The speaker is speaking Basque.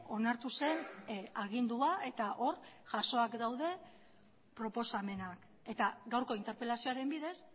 onartu zen agindua eta hor jasoak daude proposamenak eta gaurko interpelazioaren bidez